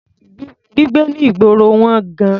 Gbígbé ní ìgboro wọ́n gan-an.